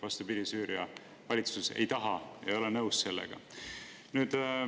Vastupidi, Süüria valitsus ei taha seda, ei ole nõus sellega.